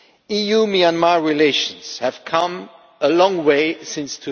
EU Myanmar relations have come a long way since